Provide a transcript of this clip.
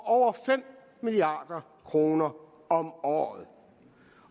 over fem milliard kroner om året